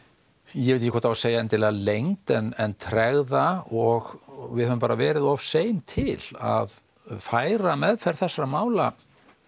ég veit ekki hvort það á að segja endilega leynd en tregða og við höfum bara verið of sein til að færa meðferð þessara mála